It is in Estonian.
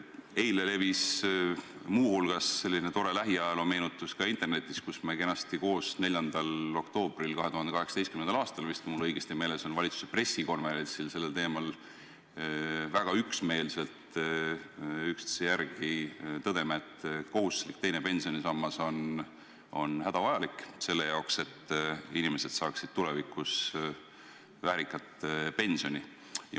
Eile levis muu hulgas selline tore lähiajaloo meenutus ka internetis, kus me kenasti koos 4. oktoobril 2018. aastal, kui mul õigesti meeles on, valitsuse pressikonverentsil sellel teemal rääkides väga üksmeelselt üksteise järel tõdesime, et kohustuslik teine pensionisammas on hädavajalik selle jaoks, et inimesed saaksid tulevikus väärikat pensioni.